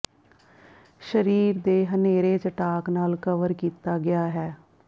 ਸਰੀਰ ਦੇ ਹਨੇਰੇ ਚਟਾਕ ਨਾਲ ਕਵਰ ਕੀਤਾ ਗਿਆ ਹੈ